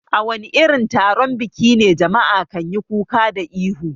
A wani irin taron biki ne jama'a kanyi kuka da ihu?